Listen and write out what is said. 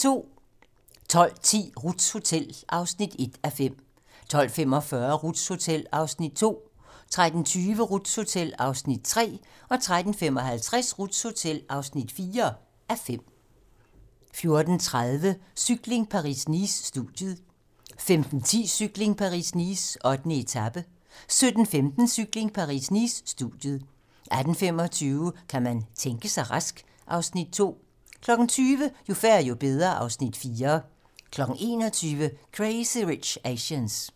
12:10: Ruths hotel (1:5) 12:45: Ruths hotel (2:5) 13:20: Ruths hotel (3:5) 13:55: Ruths hotel (4:5) 14:30: Cykling: Paris-Nice - studiet 15:10: Cykling: Paris-Nice - 8. etape 17:15: Cykling: Paris-Nice - studiet 18:25: Kan man tænke sig rask? (Afs. 2) 20:00: Jo færre, jo bedre (Afs. 4) 21:00: Crazy Rich Asians